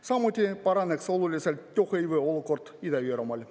Samuti paraneks oluliselt tööhõive olukord Ida-Virumaal.